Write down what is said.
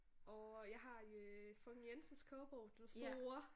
Orh jeg har øh Frøken Jensens Kogebog den store